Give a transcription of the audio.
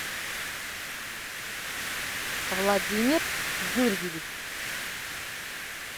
владимир юрьевич